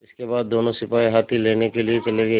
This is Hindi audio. इसके बाद दोनों सिपाही हाथी लेने के लिए चले गए